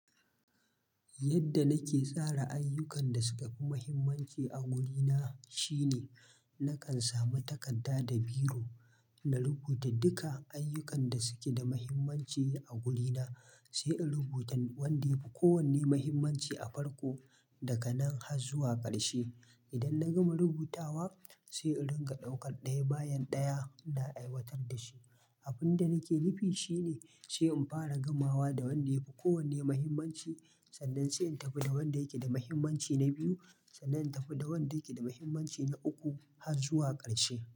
Yadda nake tsara ayyukan da suka fi muhimmanci a gidana shine nakan samu takarda da biro na rubuta duka ayyukan da suke da muhimmanci a gidana, sai in rubuta wanda ya fi kowanne muhimmanci a farko daga nan har zuwa ƙarshe. Idan na gama rubutawa sai in rika daukar ɗaya bayan ɗaya na aiwatar da shi. Abin da nake nufi shine sai in fara gamawa da wanda ya fi kowanne muhimmanci sannan sai in tafi da wanda yake da muhimmanci na biyu sannan in tafi da wanda yake da muhimmanci na uku har zuwa ƙarshe.